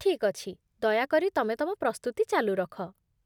ଠିକ୍ ଅଛି, ଦୟାକରି ତମେ ତମ ପ୍ରସ୍ତୁତି ଚାଲୁ ରଖ